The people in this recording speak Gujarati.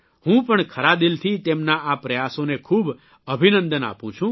હું પણ ખરા દીલથી તેમના આ પ્રયાસોને ખૂબ અભિનંદન આપું છું